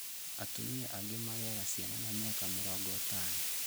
Atumia angĩ magĩaga ciana na mĩaka mĩrongo ĩtano